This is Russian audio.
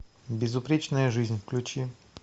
безупречная жизнь включи